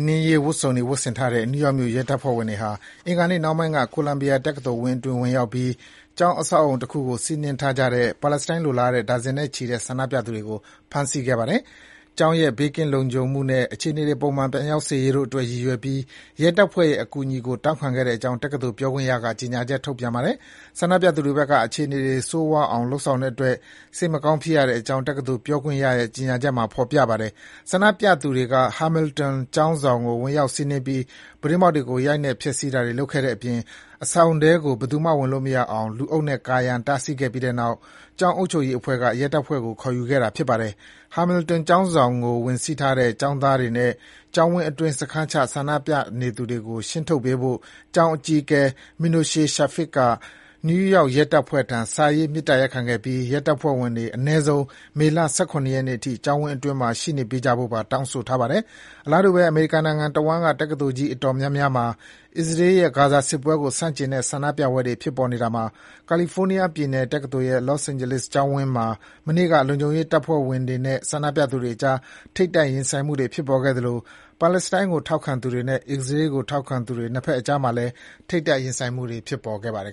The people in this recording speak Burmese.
နင်းရေး ဝတ်စုံတွေ ဝတ်ဆင်ထားတဲ့ နယူးယောက်မြို့ ရဲတပ်ဖွဲ့ဝင်တွေဟာ အင်္ဂါနေ့နှောင်းပိုင်းက ကိုလံဘီယာတက္ကသိုလ်ဝန်းအတွင်း ဝင်ရောက်ပြီး ကျောင်းအဆောက်အဦတခုကို စီးနင်းထားကြတဲ့ ပါလက်စတိုင်းလိုလားတဲ့ ဒါဇင်နဲ့ချီတဲ့ ဆန္ဒပြသူတွေကို ဖမ်းဆီးခဲ့ပါတယ်။ ကျောင်းရဲ့ ဘေးကင်းလုံခြုံမှုနဲ့ အခြေအနေတွေ ပုံမှန် ပြန်ရောက်စေရေးတို့အတွက်ရည်ရွယ်ပြီး ရဲတပ်ဖွဲ့ရဲ့အကူအညီကို တောင်းခံခဲ့ကြောင်း တက္ကသိုလ်ပြောခွင့်ရက ကြေညာချက် ထုတ်ပြန်ပါတယ်။ ဆန္ဒပြသူတွေဘက်က အခြေအနေတွေ ဆိုးရွားအောင် လုပ်ဆောင်တဲ့အတွက် စိတ်မကောင်းဖြစ်ရကြောင်း တက္ကသိုလ် ပြောခွင့်ရရဲ့ ကြေညာချက်မှာ ဖော်ပြထားပါတယ်။ ဆန္ဒပြသူတွေက Hamilton ကျောင်းဆောင်ကို ဝင်ရောက် စီးနင်းပြီး ပြတင်းပေါက်တွေကို ရိုက်နှက် ဖျက်ဆီးတာတွေ လုပ်ခဲ့တဲ့အပြင် အဆောင်ထဲကို ဘယ်သူမှ ဝင်လို့မရအောင် လူအုပ်နဲ့ ကာရံ တားဆီးထားခဲ့ပြီးတဲ့နောက် ကျောင်းအုပ်ချုပ်ရေးအဖွဲ့က ရဲတပ်ဖွဲ့ကို ခေါ်ယူခဲ့တာဖြစ်ပါတယ်။ Hamilton ကျောင်းဆောင်ကို ဝင်စီးထားတဲ့ ကျောင်းသားတွေနဲ့ ကျောင်းဝန်းအတွင်း စခန်းချ ဆန္ဒပြနေသူတွေကို ရှင်းထုတ်ပေးဖို့ ကျောင်းအကြီးအကဲ Minoche Shafik က နယူးယောက်ရဲတပ်ဖွဲ့ထံ စာရေး မေတ္တာရပ်ခဲ့ပြီး ရဲတပ်ဖွဲ့ဝင်တွေ အနည်းဆုံး မေလ ၁၇ ရက်နေ့အထိ ကျောင်းဝန်းအတွင်းမှာ ရှိနေကြဖို့ပါ တောင်းဆိုထားပါတယ်။ အလားတူဘဲ အမေရိကန်နိုင်ငံတဝန်းက တက္ကသိုလ်ကြီး အတော်များများ အစ္စရေးရဲ့ ဂါဇာစစ်ပွဲကို ဆန့်ကျင်တဲ့ ဆန္ဒပြပွဲတွေ ဖြစ်ပေါ်နေရာမှာ ကယ်လီဖိုးနီးယားပြည်နယ်တက္ကသိုလ်ရဲ့ Los Angeles ကျောင်းဝန်းမှာ မနေ့ညက လုံခြုံရေးတပ်ဖွဲ့ဝင်တွေနဲ့ ဆန္ဒပြသူတွေအကြား ထိပ်တိုက်ရင်ဆိုင်မှုတွေ ဖြစ်ပေါ်ခဲ့သလို ပါလက်စတိုင်းကို ထောက်ခံသူတွေနဲ့ အစ္စရေးကို ထောက်ခံသူတွေ နှစ်ဘက်အကြားမှာလည်း ထိပ်တိုက် ထိတွေ့မှုတွေ ဖြစ်ပေါ်ခဲ့ပါတယ်